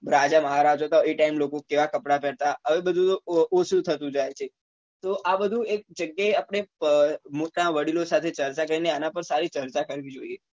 રાજા મહારાજા હતા એ time એ લોકો કેવા કપડા પહેરતા હવે બધું ઓછું થતું જાય છે તો આ બધું એક જગ્યા એ આપડે વડીલો સાથે ચર્ચા કરી ને એના પર સારી ચર્ચા કરવી જોઈએ